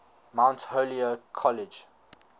mount holyoke college